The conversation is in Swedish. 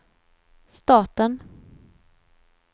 staten